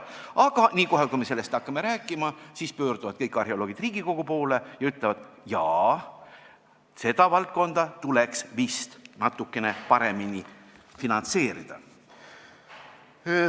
Aga kohe, kui me sellest rääkima hakkame, pöörduvad kõik arheoloogid Riigikogu poole ja ütlevad: "Jaa, seda valdkonda tuleks vist natukene paremini finantseerida.